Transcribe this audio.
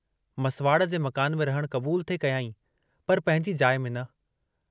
मसिवाड़ु जे मकान में रहणु क़बूल थे कयांई पर पंहिंजी जाइ में न।